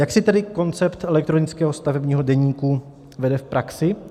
Jak si tedy koncept elektronického stavebního deníku vede v praxi?